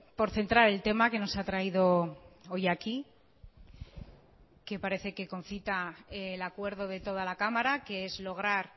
por centrar el tema que nos ha traído hoy aquí que parece que concita el acuerdo de toda la cámara que es lograr